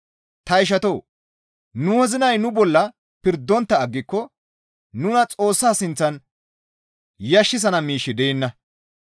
Ta ishatoo! Nu wozinay nu bolla pirdontta aggiko nuna Xoossa sinththan yashissana miishshi deenna.